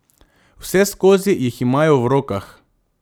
Vseskozi jih imajo v rokah.